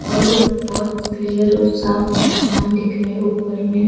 और बहोत क्लियर और साफ आसमान दिख रहे ऊपर में --